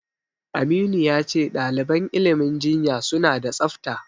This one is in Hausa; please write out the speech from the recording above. Aminu ya ce ɗaliban ilimin jinya suna da tsafta.